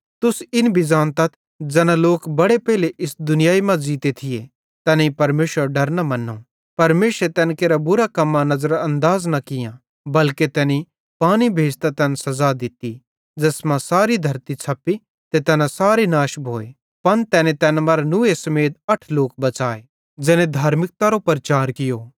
तुस इन भी ज़ानतथ ज़ैना लोक बड़े पेइले इस दुनियाई मां ज़ीते थिये तैनेईं परमेशरेरो डर न मन्नो परमेशरे तैन केरां बुरां कम्मां नज़रानदाज़ न कियां बल्के तैनी पानी भेज़तां तैन सज़ा दित्ती ज़ैस मां सारी धरती छ़प्पी ते तैना सारे नाश भोए पन तैने तैन मरां नूहे समेत अठ लोक बच़ाए ज़ैने धार्मिकतारो प्रचार कियो